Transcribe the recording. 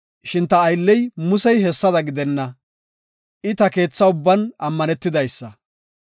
Shin ta aylley Muse hessada gidenna; I ta keetha ubban ammanetidaysa.